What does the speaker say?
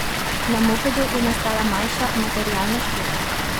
Na mopedu je nastala manjša materialna škoda.